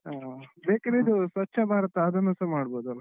ಹಾ ಬೇಕಿದ್ರೆ ಇದು ಸ್ವಚ್ಛ ಭಾರತ ಅದನ್ನುಸ ಮಾಡ್ಬೋದಲ್ಲ.